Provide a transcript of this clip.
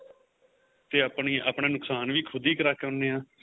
ਤੇ ਆਪਣਾ ਨੁਕਸ਼ਾਨ ਵੀ ਖੁੱਦ ਹੀ ਕਰਕੇ ਆਉਣੇ ਆਂ